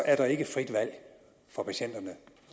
er der ikke frit valg for patienterne